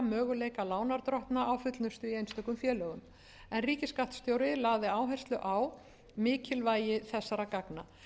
möguleika lánardrottna á fullnustu í einstökum félögum en ríkisskattstjóri lagði áherslu á mikilvægi þessara gagna